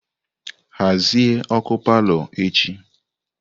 Hazie ọkụ palọ echi!